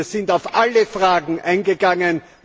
Wir sind auf alle Fragen eingegangen.